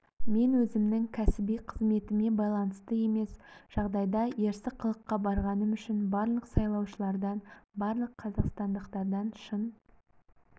мен өзімнің кәсіби қызметіме байланысты емес жағдайда ерсі қылыққа барғаным үшін барлық саулаушылардан барлық қазақстандықтардан шын